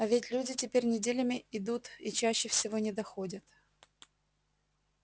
а ведь люди теперь неделями идут и чаще всего не доходят